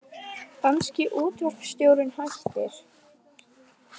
Danski útvarpsstjórinn hættir